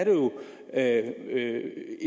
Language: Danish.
er